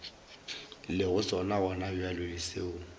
lego sona gonabjale le seo